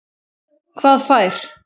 Hvað fær